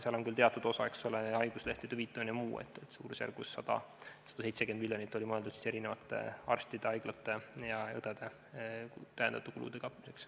Seal on küll teatud osa, eks ole, haiguslehtede hüvitamine ja muu, aga suurusjärgus 170 miljonit oli mõeldud arstide, haiglate ja õdede lisakulude katmiseks.